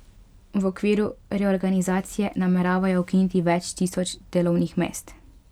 V okviru reorganizacije nameravajo ukiniti več tisoč delovnih mest.